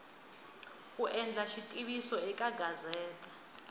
ku endla xitiviso eka gazete